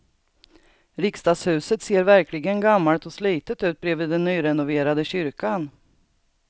Riksdagshuset ser verkligen gammalt och slitet ut bredvid den nyrenoverade kyrkan.